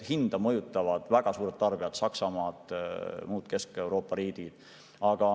Hinda mõjutavad väga suured tarbijad: Saksamaa ja muud Kesk-Euroopa riigid.